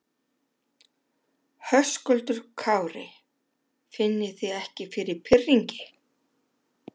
Höskuldur Kári: Finnið þið ekki fyrir pirringi?